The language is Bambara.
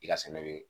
I ka sɛnɛ bɛ